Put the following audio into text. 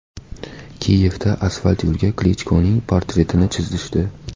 Kiyevda asfalt yo‘lga Klichkoning portretini chizishdi.